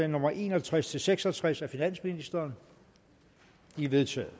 nummer en og tres til seks og tres af finansministeren de er vedtaget